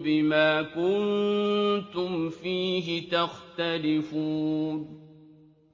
بِمَا كُنتُمْ فِيهِ تَخْتَلِفُونَ